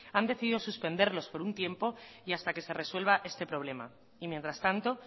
han decidido suspenderlos por un tiempo y hasta que se resuelva este problema y mientras tanto